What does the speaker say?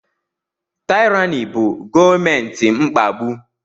Taịrani bụ gọọmenti mkpagbu.